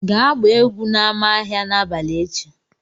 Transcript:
Gaa gbaa egwu n'ámá ahịa n'abalị echi!